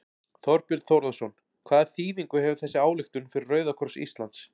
Þorbjörn Þórðarson: Hvaða þýðingu hefur þessi ályktun fyrir Rauða kross Íslands?